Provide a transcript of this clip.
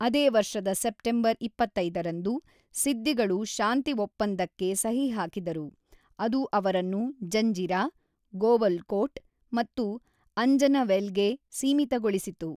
ಅದೇ ವರ್ಷದ ಸೆಪ್ಟೆಂಬರ್ ೨೫ ರಂದು, ಸಿದ್ದಿಗಳು ಶಾಂತಿ ಒಪ್ಪಂದಕ್ಕೆ ಸಹಿ ಹಾಕಿದರು, ಅದು ಅವರನ್ನು ಜಂಜಿರಾ, ಗೋವಲ್ಕೋಟ್ ಮತ್ತು ಅಂಜನವೇಲ್ಗೆ ಸೀಮಿತಗೊಳಿಸಿತು.